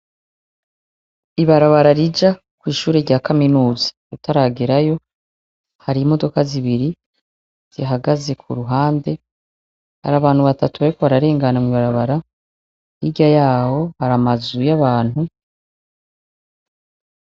Ibarabara rija kw' ishure rya kaminuza utaragerayo hari imodoka zibiri zihagaze ku ruhande hari abantu batatu bariko bararengana hirya yaho hari amazu y' abantu.